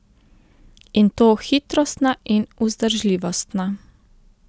In to hitrostna in vzdržljivostna.